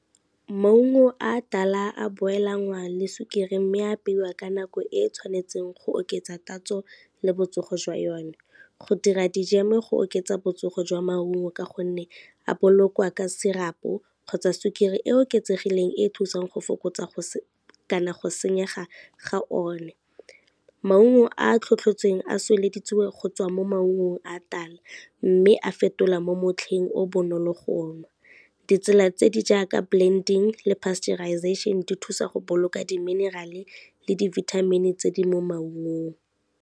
Maungo a tala a boil-lwanga le sukiri mme apeiwa ka nako e e tshwanetseng go oketsa tatso le botsogo jwa yone. Go dira dijeme go oketsa botsogo jwa maungo ka gonne a bolokwa ka syrup-o, kgotsa sukiri e oketsegileng e e thusang go fokotsa kana go senyega ga o ne. Maungo a tlhotlhotseng a go tswa mo maungong a tala mme a fetola mo motlheng o bonolo go nwa, ditsela tse di jaaka blending le pasteurization di thusa go boloka di-mineral le di-vitamin tse di mo maungong.